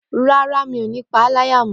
Rárá, mi ò ní paá láyà mọ